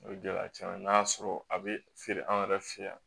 O ye gɛlɛya caman ye n'a y'a sɔrɔ a bɛ feere an yɛrɛ fɛ yan